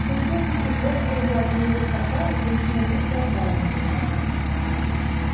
чем чаще прихлёбывал я от моего стакана тем становился отважнее